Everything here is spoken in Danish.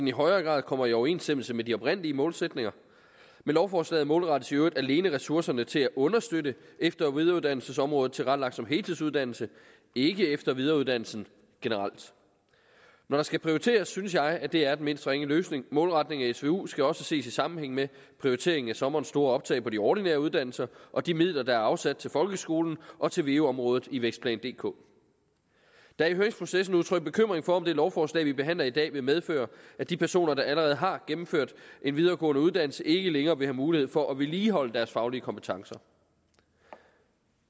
i højere grad kommer i overensstemmelse med de oprindelige målsætninger med lovforslaget målrettes i øvrigt alene ressourcerne til at understøtte efter og videreuddannelsesområdet tilrettelagt som heltidsuddannelse ikke efter og videreuddannelse generelt når der skal prioriteres synes jeg at det er den mindst ringe løsning målretningen af svu skal også ses i sammenhæng med prioriteringen af sommerens store optag på de ordinære uddannelser og de midler der er afsat til folkeskolen og til veu området i vækstplan dk der er i høringsprocessen udtrykt bekymring for om det lovforslag vi behandler i dag vil medføre at de personer der allerede har gennemført en videregående uddannelse ikke længere vil have mulighed for at vedligeholde deres faglige kompetencer